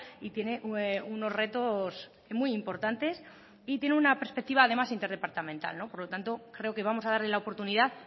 y tiene unos retos muy importantes y tiene una perspectiva además interdepartamental por lo tanto creo que vamos a darle la oportunidad